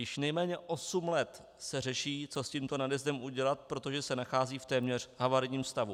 Již nejméně osm let se řeší, co s tímto nadjezdem udělat, protože se nachází v téměř havarijním stavu.